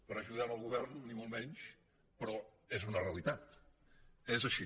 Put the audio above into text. per ajudar el govern ni molt menys però és una realitat és així